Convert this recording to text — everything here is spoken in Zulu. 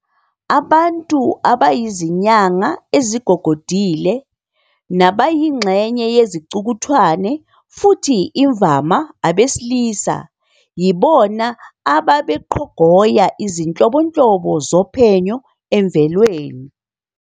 Abantu abayizinyanga ezigogodile, nabayingxenye yezicukuthwane futhi imvama abesilisa yibona ababeqhogoya izinhlobonhlobo zophenyo emvelweni.